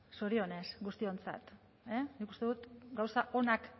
zorionez guztiontzat nik uste dut gauza onak